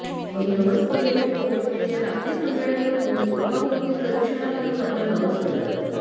मग नवस बोललेले भाविक लोक या लाकडी सांगाड्यामधून स्तूपाभोवती प्रदक्षिणा घालून आपला नवस फेडतात